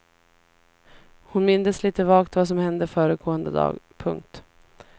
Hon mindes lite vagt vad som hände föregående dag. punkt